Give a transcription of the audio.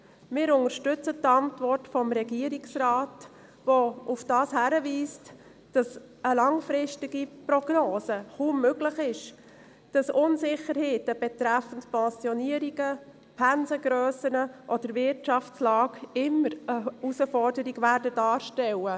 Wir unterstützen die Antwort des Regierungsrates, in der er darauf hinweist, dass eine langfristige Prognose kaum möglich ist, dass Unsicherheiten betreffend Pensionierungen, Pensengrössen oder Wirtschaftslage immer eine Herausforderung sein werden.